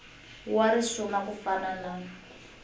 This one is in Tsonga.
wa risuna ku fana na